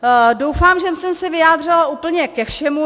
Doufám, že jsem se vyjádřila úplně ke všemu.